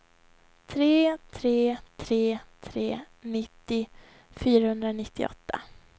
tre tre tre tre nittio fyrahundranittioåtta